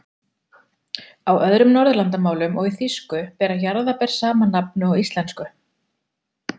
Á öðrum norðurlandamálum og í þýsku bera jarðarber sama nafn og á íslensku.